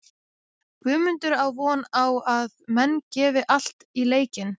Guðmundur á von á að menn gefi allt í leikinn.